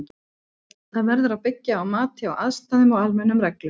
Það verður að byggja á mati á aðstæðum og almennum reglum.